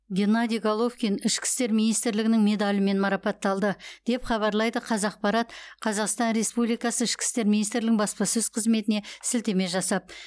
геннадий головкин ішкі істер министрлігінің медалімен марапатталды деп хабарлайды қазақпарат қазақстан республикасы ішкі істер министрлігінің баспасөз қызметіне сілтеме жасап